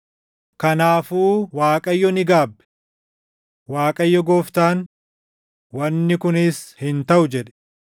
Kanaafuu Waaqayyo ni gaabbe. Waaqayyo Gooftaan, “Wanni kunis hin taʼu” jedhe.